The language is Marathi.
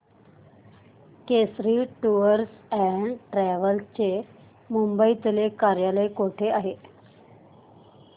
केसरी टूअर्स अँड ट्रॅवल्स चे मुंबई तले कार्यालय कुठे आहे